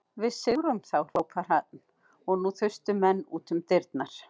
Við sigrum þá hrópaði hann og nú þustu menn út um dyrnar.